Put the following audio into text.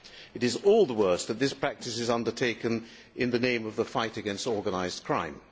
It is all the worse that this practice is undertaken in the name of the fight against organised crime.